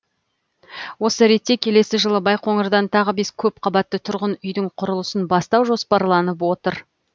осы ретте келесі жылы байқоңырдан тағы бес көпқабатты тұрғын үйдің құрылысын бастау жоспарланып отыр